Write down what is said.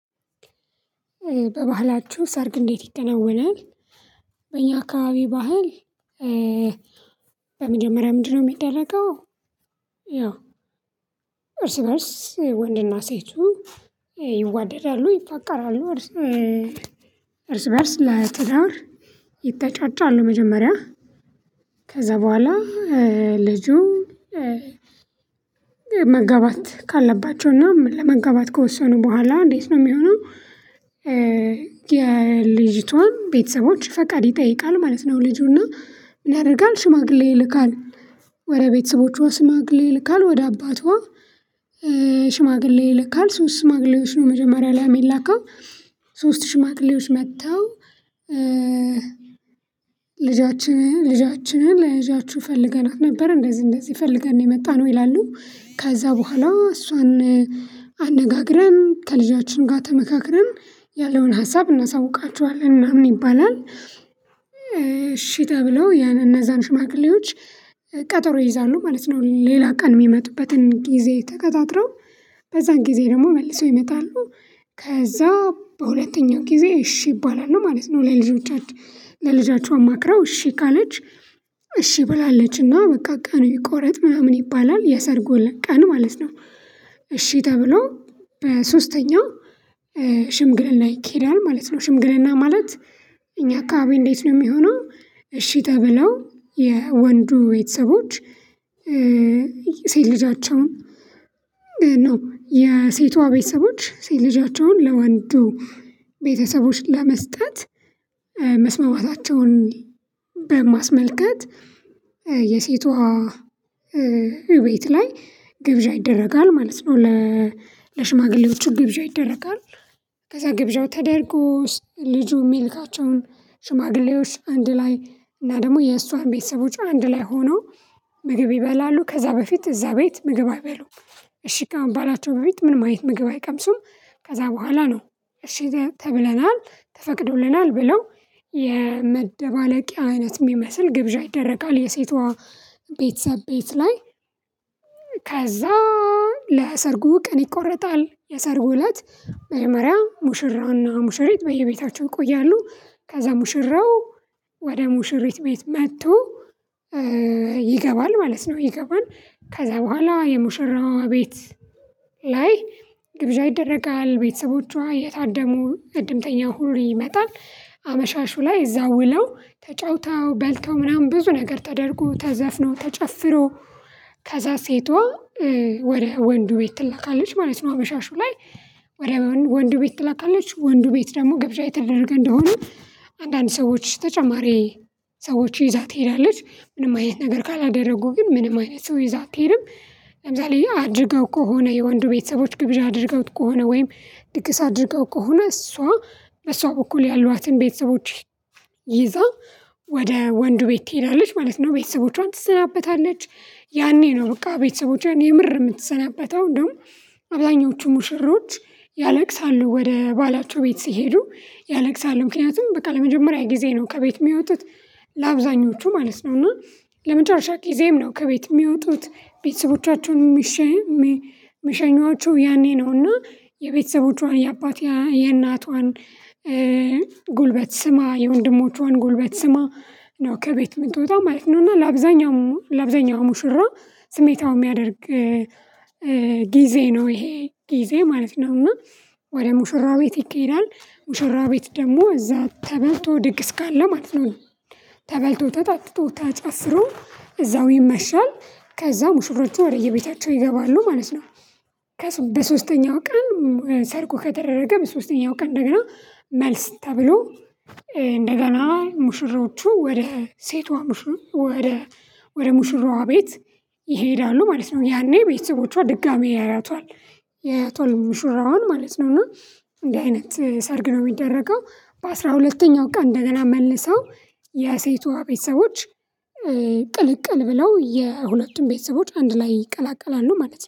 በባህላችሁ ሰርግ እንዴት ይከናወናል? በእኛ አካባቢ ባህል በመጀመሪያ ምንድነው የሚደረገው ያው እርስ በእርስ ወንድና ሴቱ ይዋደዳሉ ይፋቀራሉ እርስ እርስ በእርስ ለትዳር ይተጫጫሉ መጀመሪያ ከዛ በኋላ ልጁ መጋባት ካለባቸውና ለመጋባት ከወሰኑ በኋላ እንዴት ነው የሚሆነው የልጅቷን ቤተሰቦች ፈቃድ ይጠይቃል ማለት ነው ልጁና ምንያረጋል ሽማግሌ ይልካል ወደ ቤተሰቦቿ ሽማግሌ ይልካል ወደ አባቷ ሽማግሌ ይልካል ሶስት ሽማግሌዎች ነው መጀመሪያ ላይ የሚላከው ሶስት ሽማግሌዎች መጥተው ልጃችንን ለልጃችንን ፈልገናት ነበር እንደዚህ እንደዚህ ፈልገን የመጣነው ይላሉ ከዛ በኋላ እሷን አነጋግረን ከልጃችን ጋር ተመካክረን ያለውን ሀሳብ እናሳውቃቹአለን ምናምን ይባላል እሺ ተብለው ያን እነዛን ሽማግሌዎች ቀጠሮ ይይዛሉ ማለት ነው ሌላ ቀን የሚመጡበትን ጊዜ ተቀጣጥረው በዛን ጊዜ ደግሞ መልሰው ይመጣሉ ከዛ በሁለተኛው ጊዜ እሺ ይባላል ነው ማለት ነው ላይ ልጆቻችን ለልጃችሁ አማክረው እሺ ካለች እሺ ብላለችና በቃ ቀን ይቆረጥ ምናምን ይባላል የሰርጉ ለቀን ማለት ነው እሺ ተብሎ በሶስተኛው ሽምግልና ይኬዳል ማለት ነው ሽምግልና ማለት እኛ አካባቢ እንዴት ነው የሚሆነው እሺ ተብለው የወንዱ ቤተሰቦች ሴት ልጃቸውን ነው የሴቷ ቤተሰቦች ሴት ልጃቸውን ለወንዱ ቤተሰቦች ለመስጠት መስማማታቸውን በማስመልከት የሴቷ ቤት ላይ ግብዣ ይደረጋል ማለት ነው ለሽማግሌዎቹ ግብዣ ይደረጋል ከዛ ግብዣው ተደርጎስ ልጁ የሚልካቸውን ሽማግሌዎች አንድ ላይ እና ደግሞ የእሷን ቤተሰቦች አንድ ላይ ሆኖ ምግብ ይበላሉ ከዛ በፊት እዛ ቤት ምግብ አይበሉም እሺ ከመባላቸው በፊት ምንም አይነት ምግብ አይቀምሱም ከዛ በኋላ ነው እሺ ተብለናል ተፈቅዶልናል ብለው የመደባለቂያ አይነት የሚመስል ግብዣ ይደረጋል የሴቷ ቤተሰብ ቤት ላይ ከዛ ለሰርጉ ቀን ይቆረጣል የሰርጉ እለት መጀመሪያ ሙሽራና ሙሽሪት በየቤታቸው ይቆያሉ ከዛ ሙሽራው ወደ ሙሽሪት ቤት መጥቶ ይገባል ማለት ነው ይገባል ከዛ በኋላ የሙሽራዋ ቤት ላይ ግብዣ ይደረጋል ቤተሰቦቿ እየታደሙ እድምተኛው ሁሉ ይመጣል አመሻሹ ላይ እዛው ውለው ተጫውተው በልተው ምናምን ብዙ ነገር ተደርጎ ተዘፍኖ ተጨፍሮ ከዛ ሴቷ ወደ ወንዱ ቤት ትላካለች ማለት ነው አመሻሹ ላይ ወደ ወንዱ ቤት ትላካለች ወንዱ ቤት ደግሞ ግብዣ የተደረገ እንደሆነ አንዳንድ ሰዎች ተጨማሪ ሰዎች ይዛ ትሄዳለች ምንም አይነት ነገር ካላደረጉ ግን ምንም አይነት ሰው ይዛ አትሄድም ለምሳሌ አጅገው ከሆነ የወንዱ ቤተሰቦች ግብዣ አድርገውት ከሆነ ወይም ድግስ አድርገው ከሆነ እሷ በእሷ በኩል ያሏትን ቤተሰቦች ይዛ ወደ ወንዱ ቤት ትሄዳለች ማለት ነው ቤተሰቦቿን ትሰናበታለች ያኔ ነው በቃ ቤተሰቦቼን የምር የምትሰናበተው ደግሞ አብዛኞቹ ሙሽሮች ያለቅሳሉ ወደ ባላቸው ቤት ሲሄዱ ያለቅሳሉ ምክንያቱም በቃ ለመጀመሪያ ጊዜ ነው ከቤት የሚወጡት ለአብዛኞቹ ማለት ነው እና ለመጨረሻ ጊዜም ነው ከቤት የሚወጡት ቤተሰቦቻቸውን የሚሸኟቸው ያኔ ነው እና የቤተሰቦቿን የአባት የእናቷን ጉልበት ስማ የወንድሞቿን ጉልበት ስማ ነው ከቤት የምትወጣ ማለት ነው እና ለአብዛኛው ለአብዛኛው ሙሽራ ስሜታዊ የሚያደርግ ጊዜ ነው ይሄ ጊዜ ማለት ነው እና ወደ ሙሽራ ቤት ይኬዳል ሙሽራ ቤት ደግሞ እዛ ተበልቶ ድግስ ካለ ማለት ነው ተበልቶ ተጠጥቶ ተጨፍሮ እዛው ይመሻል ከዛ ሙሽሮቹ ወደ የቤታቸው ይገባሉ ማለት ነው በሶስተኛው ቀን ሰርጉ ከተደረገ በሶስተኛው ቀን እንደገና መልስ ተብሎ እንደገና ሙሽሮቹ ወደ ሴቷ ወደ ወደ ሙሽሯ ቤት ይሄዳሉ ማለት ነው ያኔ ቤተሰቦቿ ድጋሚ ያያቷል ያያቷል ሙሽራውን ማለት ነው እና እንዲህ አይነት ሰርግ ነው የሚደረገው በአሥራ ሁለተኛው ቀን እንደገና መልሰው የሴቷ ቤተሰቦች ቅልቅል ብለው የሁለቱም ቤተሰቦች አንድ ላይ ይቀላቀላሉ ማለት ነው